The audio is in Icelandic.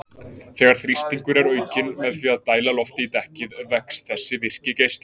Þegar þrýstingur er aukinn með því að dæla lofti í dekkið vex þessi virki geisli.